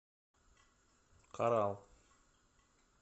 коралл